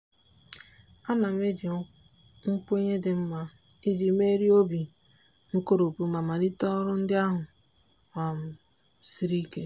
a na m eji nkwenye dị mma iji merie obi nkoropụ ma malite ọrụ ndị ahụ um siri ike.